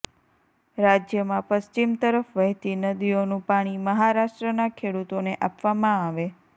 રાજ્યમાં પશ્ચિમ તરફ વહેતી નદીઓનું પાણી મહારાષ્ટ્રના ખેડૂતોને આપવામાં આવે